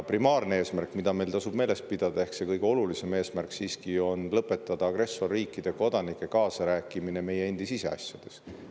Primaarne eesmärk, mida meil tasub meeles pidada, ehk kõige olulisem eesmärk, on lõpetada agressorriikide kodanike kaasarääkimine meie endi siseasjades.